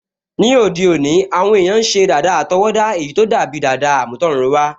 Ní òde òní, àwọn èèyàn n ṣe dàda àtọwọ́dá èyí tó dàbi dàda àmútọ̀runwá